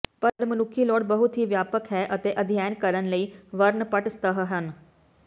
ਪਰ ਮਨੁੱਖੀ ਲੋੜ ਬਹੁਤ ਹੀ ਵਿਆਪਕ ਹੈ ਅਤੇ ਅਧਿਐਨ ਕਰਨ ਲਈ ਵਰਣਪੱਟ ਸਤਹ ਹਨ